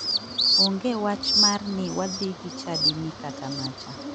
Onge wach mar ni wadhi gi chadi ni kata macha.